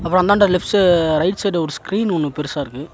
அப்புறோ அந்தாண்ட left right side ஒரு ஸ்கிரீன் ஒன்னு பெருசா இருக்கு.